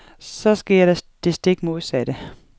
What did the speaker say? Så sker der det stik modsatte.